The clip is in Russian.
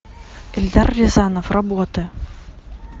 эльдар рязанов работы